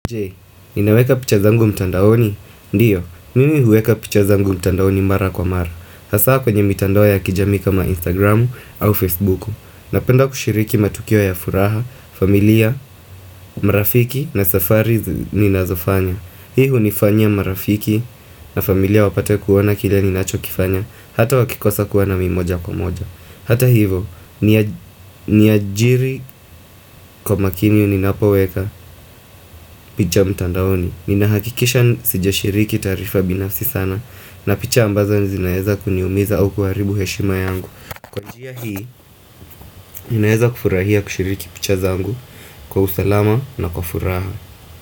Je, ninaweka picha zangu mtandaoni? Ndiyo, mimi huweka picha zangu mtandaoni mara kwa mara Hasa kwenye mitandao ya kijamii kama Instagramu au Facebooku Napenda kushiriki matukio ya furaha, familia, marafiki na safari ninazofanya Hii hunifanyia marafiki na familia wapate kuona kile ninacho kifanya Hata wakikosa kuona mimi moja kwa moja Hata hivo, niajiri kwa makini ninapoweka mtandaoni Nina hakikisha sija shiriki taarifa binafsi sana na picha ambazo zinaeza kuniumiza au kuharibu heshima yangu Kwa njia hii, ninaeza kufurahia kushiriki picha zangu Kwa usalama na kwa furaha.